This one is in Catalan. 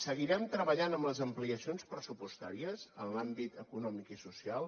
seguirem treballant amb les ampliacions pressupostàries en l’àmbit econòmic i social